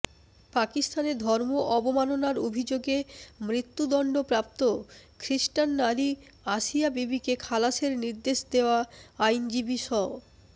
পাকিস্তানে ধর্ম অবমাননার অভিযোগে মৃত্যুদণ্ড প্রাপ্ত খ্রিস্টান নারী আসিয়া বিবিকে খালাসের নির্দেশ দেয়া আইনজীবী স